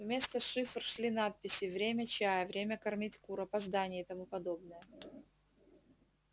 вместо цифр шли надписи время чая время кормить кур опоздание и тому подобное